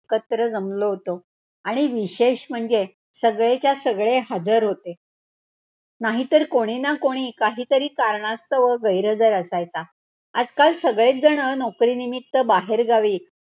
कचरो जमलो होतो. आणि विशेष म्हणजे, सगळेच्या सगळे हजर होते. नाहीतर कोणी ना कोणी, काहीतरी कारणास्तव गैरहजर असायचा. आजकाल सगळेच जण नोकरीनिमित्त बाहेरगावी.